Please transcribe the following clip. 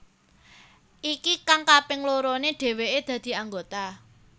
Iki kang kaping lorone dheweke dadi anggota